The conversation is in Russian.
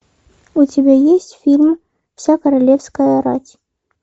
у тебя есть фильм вся королевская рать